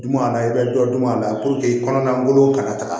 Dun a na i bɛ dɔ dun a la puruke kɔnɔna taga